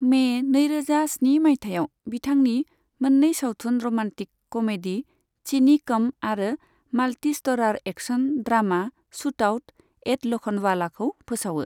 May नैरोजा स्नि माइथायाव, बिथांनि मोननै सावथुन र'मान्टिक कमेडी चिनी कम आरो multi starrer action drama shootout at ल'खन्डवालाखौ फोसावो।